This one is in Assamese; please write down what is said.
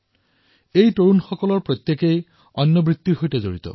এই আটাইবোৰ যুৱক বিভিন্ন পেছাৰ সৈতে জড়িত